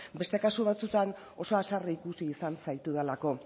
beste kasu batzuetan oso haserre ikusi izan zaitudalako